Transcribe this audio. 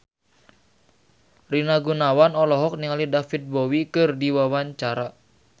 Rina Gunawan olohok ningali David Bowie keur diwawancara